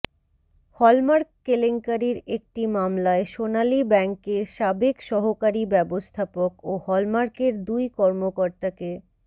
hallmark কেলেংকারির একটি মামলায় সোনালী ব্যাংকের সাবেক সহকারী ব্যবস্থাপক ও হলমার্কের দুই কর্মকর্তাকে